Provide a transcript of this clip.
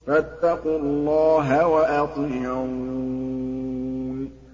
فَاتَّقُوا اللَّهَ وَأَطِيعُونِ